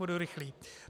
Budu rychlý.